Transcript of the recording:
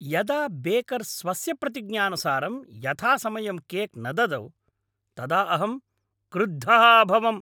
यदा बेकर् स्वस्य प्रतिज्ञानुसारं यथासमयं केक् न ददौ तदा अहं क्रुद्धः अभवम्।